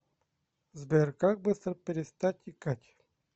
сбер как быстро перестать икать